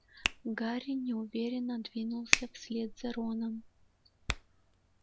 гарри неуверенно двинулся вслед за роном